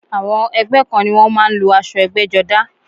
Àwọn ẹgbẹ́ kan ni wọ́n má a ń lo asọ ẹgbẹ́jọdá